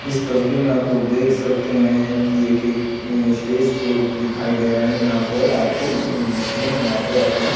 इस तस्वीर में आप लोग देख सकते हैं कि एक - एक स्टेज शो दिखाई दे रहा है जहाँ पर आपको म्यूजिशियन यहाँ पर अपना --